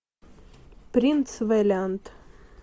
принц вэлиант